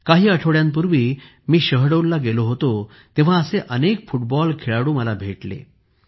काही आठवड्यांपूर्वी मी शहडोलला गेलो होतो तेव्हा असे अनेक फुटबॉल खेळाडू मला भेटले